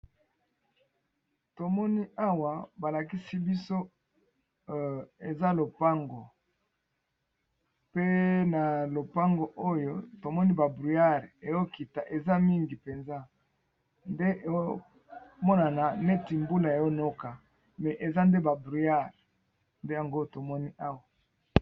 Tomoni awa balakisi biso eza lopango pe na lopango oyo tomoni ba bruyare eokita eza mingi mpenza nde eomonana neti mbula eonoka me eza nde ba bruyare nde yango tomoni awa.